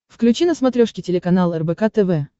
включи на смотрешке телеканал рбк тв